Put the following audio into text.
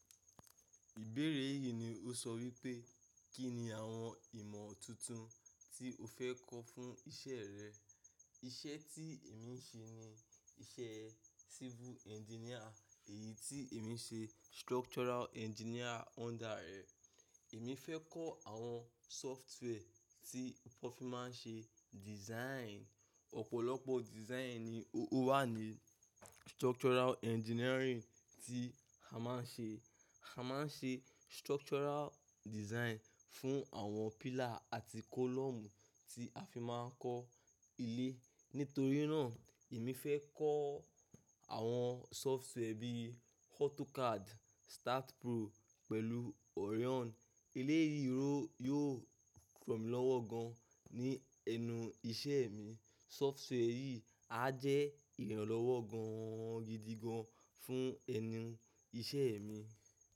Ìbéèrè yìí ni ó sọ wípé, Kí ni àwọn ìmọ̀ tuntun tí o fẹ́ kọ́ fún iṣẹ́ rẹ? Iṣẹ́ tí èmi ń ṣe ni iṣẹ́ civil engineer, èyí tí èmi ń nṣe structural engineer under rẹ̀. Èmi fẹ́ kọ́ àwọn software tí wọ́n fi máa ń ṣe design. Ọ̀pọ̀lọpọ̀ design ni ó wà ní structural engineering tí a máa ń ṣe. A máa ń ṣe structural design fún àwọn pillar àti column tí a fi máa ń kọ́ ilé. Nítorí náà, èmi fẹ́ kọ́ àwọn software bí i AutoCAD, STAAD.Pro pẹ̀lú Orion. Eleyi ro yóò ràn mí lọ́wọ́ gan ní ẹnu iṣẹ́ mi. Software yìí á jẹ́ ìrànlọ́wọ́ ganan gidigan fún ẹnu iṣẹ́ mi.